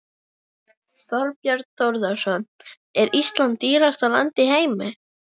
Þorbjörn Þórðarson: Er Ísland dýrasta land í heimi?